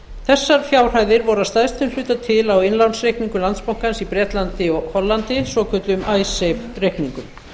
þessar fjárhæðir voru að stærstum hluta til á innlánsreikningum landsbankans í bretlandi og hollandi svokölluðum icesave reikningum